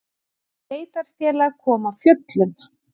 Sveitarfélag kom af fjöllum